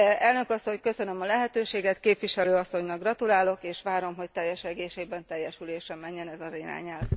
Elnök Asszony, köszönöm a lehetőséget, Képviselő Asszonynak gratulálok, és várom, hogy teljes egészében teljesülésre menjen ez az irányelv.